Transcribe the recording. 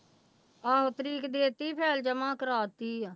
ਆਹੋ ਤਰੀਕ ਦੇ ਦਿੱਤੀ file ਜਮਾ ਕਰਵਾ ਦਿੱਤੀ ਆ।